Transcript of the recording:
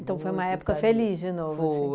Então foi uma época feliz de novo. Foi